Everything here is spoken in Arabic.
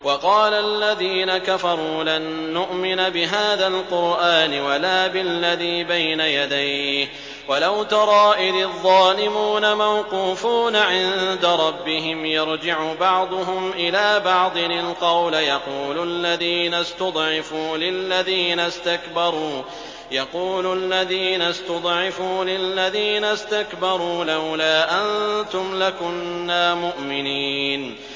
وَقَالَ الَّذِينَ كَفَرُوا لَن نُّؤْمِنَ بِهَٰذَا الْقُرْآنِ وَلَا بِالَّذِي بَيْنَ يَدَيْهِ ۗ وَلَوْ تَرَىٰ إِذِ الظَّالِمُونَ مَوْقُوفُونَ عِندَ رَبِّهِمْ يَرْجِعُ بَعْضُهُمْ إِلَىٰ بَعْضٍ الْقَوْلَ يَقُولُ الَّذِينَ اسْتُضْعِفُوا لِلَّذِينَ اسْتَكْبَرُوا لَوْلَا أَنتُمْ لَكُنَّا مُؤْمِنِينَ